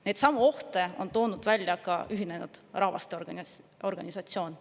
Neidsamu ohte on toonud välja ka Ühinenud Rahvaste Organisatsioon.